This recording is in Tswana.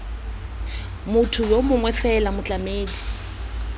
motho yo mongwe fela motlamedi